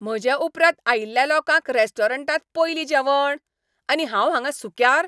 म्हजे उपरांत आयिल्ल्या लोकांक रेस्टॉरंटांत पयलीं जेवण? आनी हांव हांगां सुक्यार?